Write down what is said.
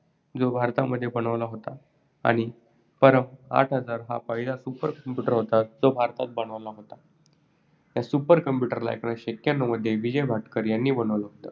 जो भारतामध्ये बनला होता आणि परम आठ हजार हा पहिला super computer होता. जो भारतात बनला होता. या super computer ला एकोणीसशे एक्यन्नव मध्ये विजय भटकर यांनी बनवलं होत.